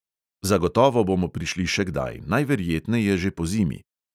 Zagotovo bomo prišli še kdaj, najverjetneje že pozimi.